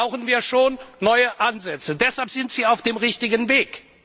Da brauchen wir schon neue Ansätze, deshalb sind Sie auf dem richtigen Weg.